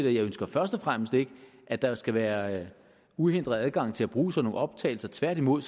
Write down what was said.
og jeg ønsker først og fremmest ikke at der skal være uhindret adgang til at bruge sådan nogle optagelser tværtimod